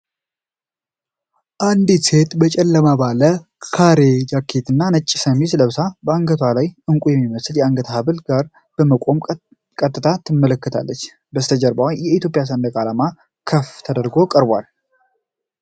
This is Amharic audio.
አንዲት ሴት በጨለማ ባለ ካሬ ጃኬት እና ነጭ ሸሚዝ ለብሳ፣ ከአንገቷ ላይ ዕንቁ የሚመስል የአንገት ሐብል ጋር በመቆም ቀጥታ ትመለከታለች። ከበስተጀርባ የኢትዮጵያ ሰንደቅ ዓላማ ክፍል ጎልቶ ቀርቧል።